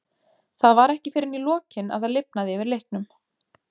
Það var ekki fyrr en í lokin að það lifnaði yfir leiknum.